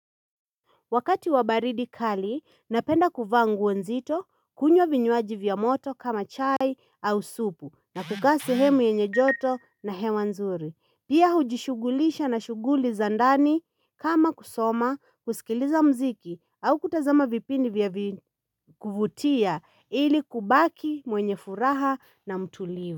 Wakati wa baridi kali, napenda kuvaa nguo nzito, kunywa vinywaji vya moto kama chai au supu, na kukaa sehemu yenye joto na hewa nzuri. Pia hujishughulisha na shuguli za ndani kama kusoma, kusikiliza mziki au kutazama vipindi vya kuvutia ili kubaki mwenye furaha na mtulivu.